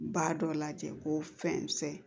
Ba dɔ lajɛ ko fɛn